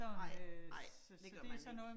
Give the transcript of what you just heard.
Nej, nej det gør man ikke